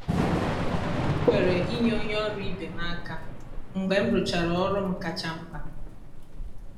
m kwere inye onye ọrụ ibe m aka mgbe m rụchara ọrụ m kacha mkpa.